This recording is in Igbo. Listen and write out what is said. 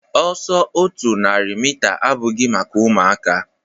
Ọsọ otu narị mita abụghị maka ụmụaka